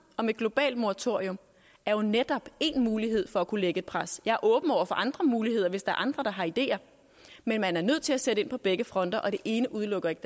om et globalt moratorium er jo netop en mulighed for at kunne lægge et pres jeg er åben over for andre muligheder hvis der er andre der har ideer men man er nødt til at sætte ind på begge fronter og det ene udelukker ikke